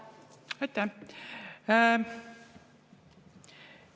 Aitäh!